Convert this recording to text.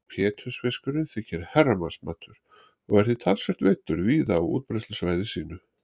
Pétursfiskurinn þykir herramannsmatur og er því talsvert veiddur víða á útbreiðslusvæði sínu.